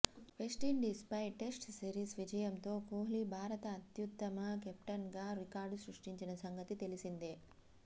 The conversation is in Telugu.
వెస్టిండీస్పై టెస్ట్ సిరీస్ విజయంతో కోహ్లి భారత అత్యుత్తమ కెప్టెన్గా రికార్డు సృష్టించిన సంగతి తెలిసిందే